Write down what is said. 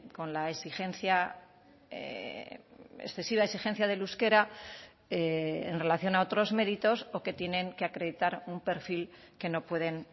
con la exigencia excesiva exigencia del euskera en relación a otros méritos o que tienen que acreditar un perfil que no pueden